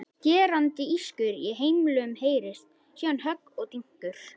Skerandi ískur í hemlum heyrist, síðan högg og dynkur.